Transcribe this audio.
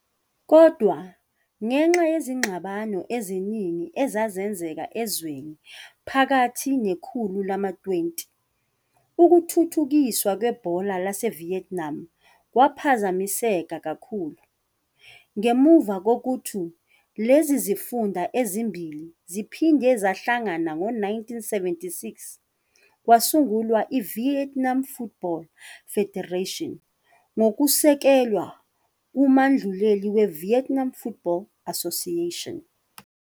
Kodwa, ngenxa yezingxabano eziningi ezazenzeka ezweni phakathi nekhulu lama-20, ukuthuthukiswa kwebhola laseVietnam kwaphazamiseka kakhulu. Ngemuva kokuthi lezi zifunda ezimbili ziphinde zahlangana ngo-1976, kwasungulwa i-Vietnam Football Federation ngokusekelwe kumanduleli we-Vietnam Football Association.